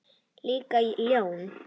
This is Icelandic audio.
Líka ljón.